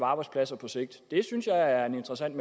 arbejdspladser på sigt det synes jeg er en interessant